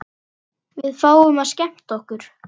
Við fáum að skemmta okkur.